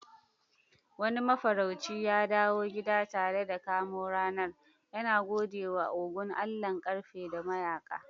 Wani mafarauci ya dawo gida tare da kamo ranar, yana gode wa Ogun, allahn ƙarfe da mayaka.